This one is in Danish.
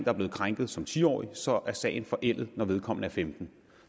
er blevet krænket som ti årig så er sagen forældet når vedkommende er femtende